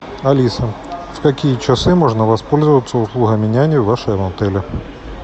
алиса в какие часы можно воспользоваться услугами няни в вашем отеле